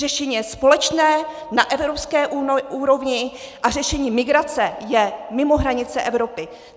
Řešení je společné na evropské úrovni a řešení migrace je mimo hranice Evropy.